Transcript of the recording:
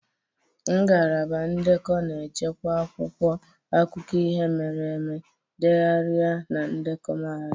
Ngalaba ndekọ na-echekwa akwụkwọ akụkọ ihe mere eme, ndegharị na ndekọ mahadum.